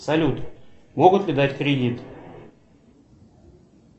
салют могут ли дать кредит